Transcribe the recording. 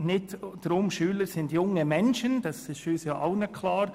Dass Schüler junge Menschen sind, ist allen klar.